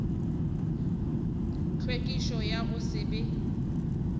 tlhwekišo ya go se be